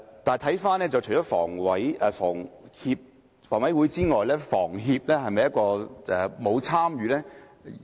但是，除了房委會之外，香港房屋協會是否沒有參與呢？